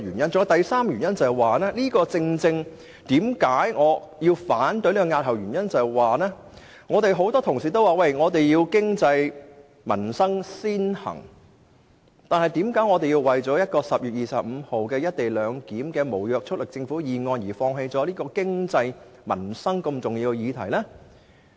我反對押後討論《條例草案》的第三個原因是，很多同事說經濟民生必須先行，那為甚麼我們要為在10月25日提出一項有關"一地兩檢"的無約束力政府議案，而放棄對經濟民生如此重要的法案？